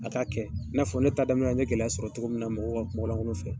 A k'a kɛ, i n'a fɔ ne ta daminɛ n ɲe gɛlɛya sɔrɔ cogo min na, mɔgɔ ka kumalankolon fɛ.